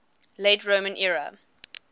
late roman era